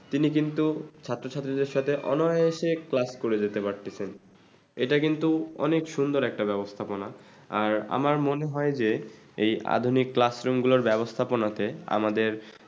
তিনি কিন্তু ছাত্রছাত্রীদের সাথে অনায়াসে class করে নিতে পারতেছেন। এটা কিন্তু অনেক সুন্দর একটা ব্যাবস্থাপনা আর আমার মনে হয় যে এই আধুনিক classroom ক্লা ব্যাবস্থাপনাতে আমাদের